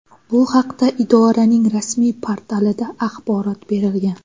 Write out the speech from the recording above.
Bu haqda idoraning rasmiy portalida axborot berilgan .